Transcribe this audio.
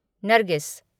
Nargis